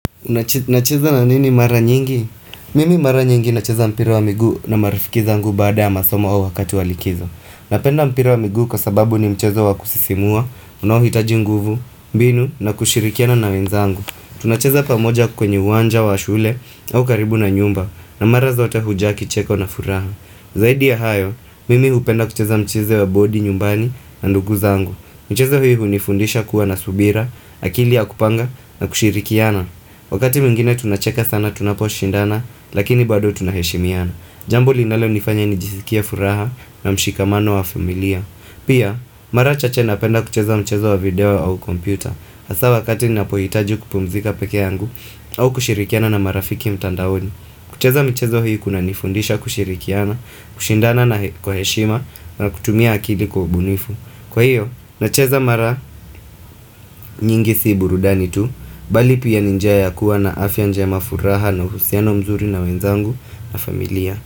Unacheza na nini mara nyingi? Mimi mara nyingi nacheza mpira wa miguu na marifiki zangu baada ya masomo au wakati wa likizo. Napenda mpira wa miguu kwa sababu ni mchezo wa kusisimua, unaohitaji nguvu, mbinu na kushirikiana na wenzangu. Tunacheza pamoja kwenye uwanja wa shule au karibu na nyumba na mara zote hujaa kicheko na furaha. Zaidi ya hayo, mimi hupenda kucheza mchezo wa bodi nyumbani na ndugu zangu. Mchezo hii hunifundisha kuwa na subira, akili ya kupanga na kushirikiana. Wakati mwingine tunacheka sana tunaposhindana, lakini bado tunaheshimiana. Jambu linalonifanya nijisikie furaha na mshikamano wa familia. Pia, mara chache napenda kucheza mchezo wa video au kompyuta. Hasa wakati ninapohitaji kupumzika peke yangu au kushirikiana na marafiki mtandaoni. Kucheza mchezo hii kunanifundisha kushirikiana, kushindana kwa heshima na kutumia akili kubunifu. Kwa hiyo, nacheza mara nyingi si burudani tu Bali pia ni njia ya kuwa na afya njema furaha na uhusiano mzuri na wenzangu na familia.